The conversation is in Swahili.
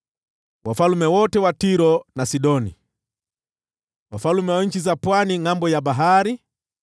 wafalme wote wa Tiro na Sidoni; wafalme wa nchi za pwani ngʼambo ya bahari;